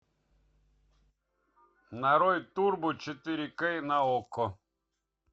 нарой турбо четыре кей на окко